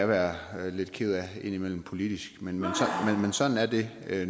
være lidt ked af politisk men sådan er det